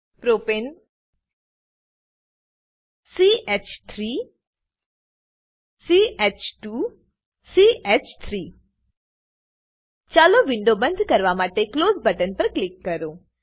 પ્રોપને ch3 ch2 ચ3 ચાલો window બંધ કરવા માટે ક્લોઝ બટન પર ક્લિક કરો